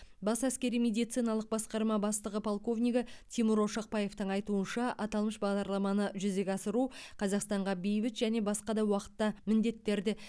бас әскери медициналық басқарма бастығы полковнигі тимур ошақбаевтың айтуынша аталмыш бағдарламаны жүзеге асыру қазақстанға бейбіт және басқа да уақытта міндеттерді